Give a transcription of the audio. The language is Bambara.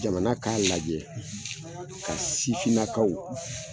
Jamana ka lajɛ ka sifinnakaw